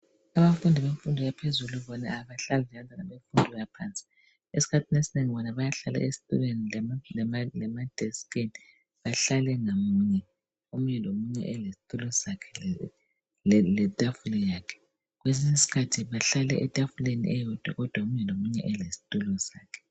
Abafundi bemfundo yaphezulu bona abahlali njengabantwana bemfundo yaphansi esikhathini esinengi bona bayahlala ezitulweni lemadesikini bahlale ngamunye omunye lomunye elesitulo sakhe letafula yakhe kwesinye isikhathi bahlale etafuleni eyodwa kodwa omunye lomunye elesitulo sakhe.